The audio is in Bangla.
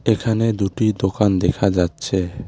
এখানে দুটি দোকান দেখা যাচ্ছে।